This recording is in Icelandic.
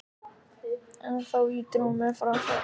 En þá ýtir hún mér frá sér.